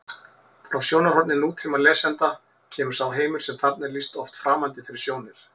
Frá sjónarhorni nútímalesanda kemur sá heimur sem þarna er lýst oft framandi fyrir sjónir: